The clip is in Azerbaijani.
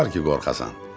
Nə var ki, qorxasan?